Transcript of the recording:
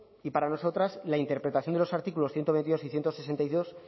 y para nosotras la interpretación de los artículos ciento veintidós y ciento sesenta y dos